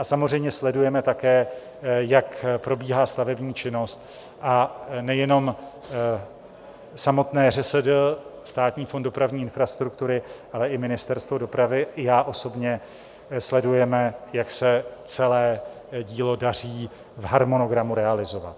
A samozřejmě sledujeme také, jak probíhá stavební činnost, a nejenom samotné ŘSD, Státní fond dopravní infrastruktury, ale i Ministerstvo dopravy i já osobně sledujeme, jak se celé dílo daří v harmonogramu realizovat.